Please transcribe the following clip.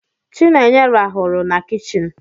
Chinenye raaru na kichin.